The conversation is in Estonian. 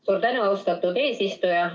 Suur tänu, austatud eesistuja!